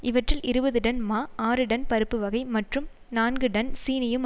இவற்றில் இருபது டன் மா ஆறு டன் பருப்புவகை மற்றும் நான்கு டன் சீனியும்